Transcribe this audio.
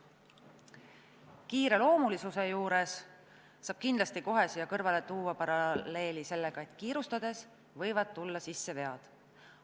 Kiireloomulisuse juurde saab kindlasti kohe tuua paralleeli sellega, et kiirustades võivad tulla sisse vead.